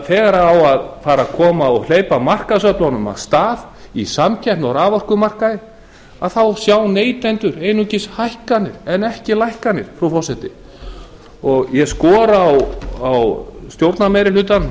þegar á að fara að hleypa markaðsöflunum á stað í samkeppni á raforkumarkaði þá sjá neytendur einungis hækkanir en ekki lækkanir frú forseti ég skora á stjórnarmeirihlutann